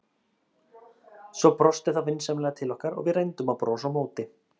Svo brosti það vinsamlega til okkar og við reyndum að brosa á móti.